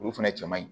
Olu fɛnɛ cɛ man ɲi